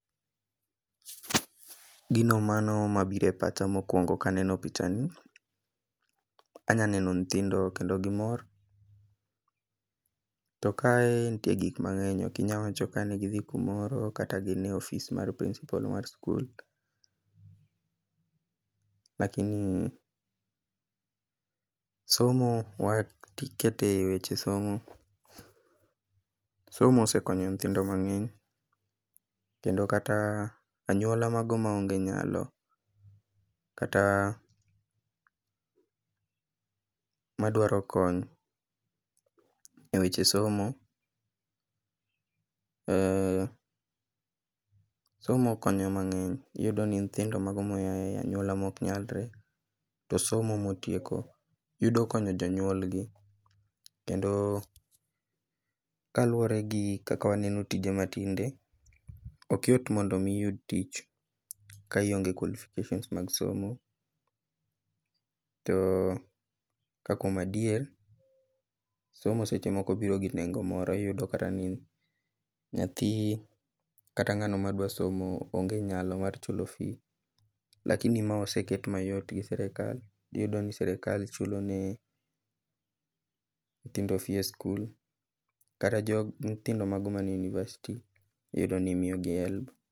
Gino mano mabiro e pacha mokwongo kaneno picha ni, anya neno nyithindo kendo gimor, to kae nitie gik mang'eny, ok inya wacho ka gidhi kumoro kata gine ofis mar principal mar skul, lakini somo, waketo e weche somo, somo osekonyo nyithindo mang'eny kendo kata anyuola mago maonge nyalo kata madwaro kony ,e weche somo, somo konyo mang'eny, iyudoni ni nyithindo mago moyae anyuola moknyalre, to somo motieko, yudo konyo jonyuolgi, kendo kaluwore gi kaka waneno tije matinde, ok yot mondo omi iyud tich ka ionge qualifications mag somo, to ka kuom adier, somo seche moko biro gi nengo moro, iyudo kata ni nyathi kata ng'ano madwa somo onge nyalo mar chulo fees lakini ma oseket mayot gi sirikal, iyudoni sirikal chulo ni nyithindo fee e skul, kata nyithindo mago manie university iyudo ni miyogi HELB.